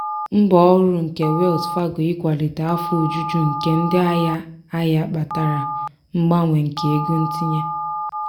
mbọ ọhụrụ nke wells fargo ikwalite afọ ojuju nke ndị ahịa ahịa kpatara mbawanye nke ego ntinye.